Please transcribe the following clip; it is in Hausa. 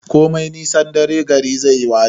Komai nisan dare gari zai waye